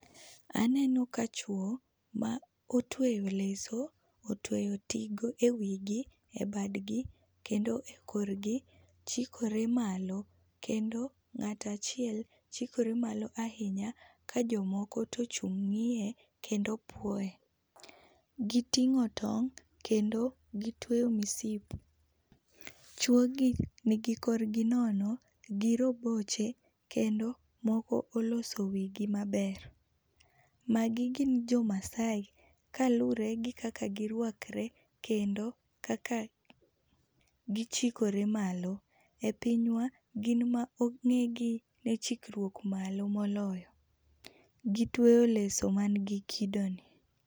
Aneno ka chwo ma otweyo leso, otweyo tigo e wii gi, bad gi, kendo e korgi. chikore malo kendo ng'at achiel chikore malo ahinya ka jomoko to ochung' ng'iye kendo puoye gi ting'o tong' kendo gi tweyo msip. chwo gi nigi kor gi nono, gi roboche kendo moko olose wii gi maber . Ma gi gin jo maasai kalure gi kaka gi rwakre kendo kaka gi chikre malo .E pinywa gin e ma ong'e gi ne chikruok malo moloyo. Gi tweyo leso man gi kido ni.